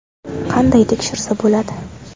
Qanday tekshirsa bo‘ladi?